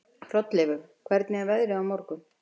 Hrolleifur, hvernig er veðrið á morgun?